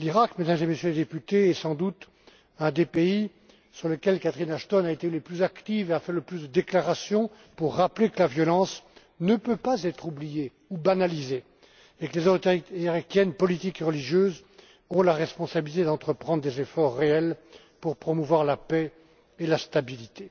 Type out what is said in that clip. Mesdames et Messieurs les députés, l'Iraq est sans doute un des pays sur lesquels Catherine Ashton a été la plus active et a fait le plus de déclarations pour rappeler que la violence ne peut pas être oubliée ou banalisée, et que les autorités politiques et religieuses ont la responsabilité d'entreprendre des efforts réels pour promouvoir la paix et la stabilité.